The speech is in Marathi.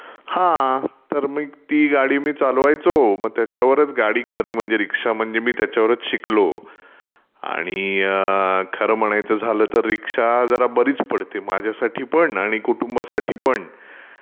हा तर मग ती गाडी मी चालवायचो. मग त्याच्यवरचं गाडी खरी म्हणजे रीक्षा म्हणजे मी त्याच्यावरचं शिकलो, आणि खरं म्हणाचं झालं तर रीक्षा जरा बरीच पडते माझ्यासाठी पण आणि कुटूंवासाठीपण.